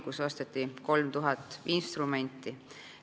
Kokku osteti 3000 instrumenti.